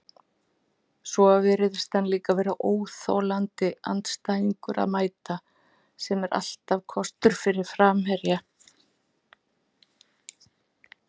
Svo virðist hann líka vera óþolandi andstæðingur að mæta, sem er alltaf kostur fyrir framherja.